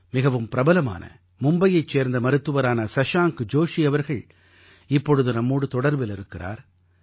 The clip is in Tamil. மிகவும் பிரபலமான மும்பையைச் சேர்ந்த மருத்துவரான சஷாங்க் ஜோஷி அவர்கள் இப்பொழுது நம்மோடு தொடர்பில் இருக்கிறார்